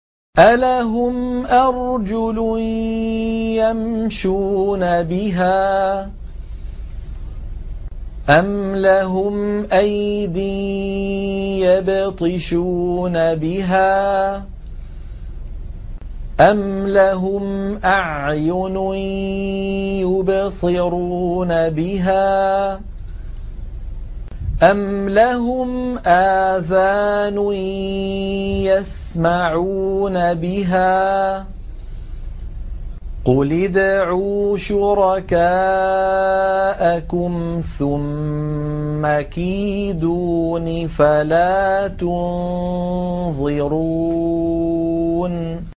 أَلَهُمْ أَرْجُلٌ يَمْشُونَ بِهَا ۖ أَمْ لَهُمْ أَيْدٍ يَبْطِشُونَ بِهَا ۖ أَمْ لَهُمْ أَعْيُنٌ يُبْصِرُونَ بِهَا ۖ أَمْ لَهُمْ آذَانٌ يَسْمَعُونَ بِهَا ۗ قُلِ ادْعُوا شُرَكَاءَكُمْ ثُمَّ كِيدُونِ فَلَا تُنظِرُونِ